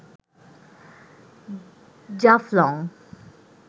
Jaflong